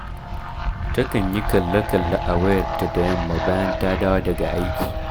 Takan yi kalle-kalle a wayarta da yamma bayan ta dawo daga aiki